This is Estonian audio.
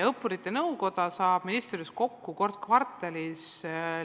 Õppurite Nõukoda saab ministri juures kokku kord kvartalis.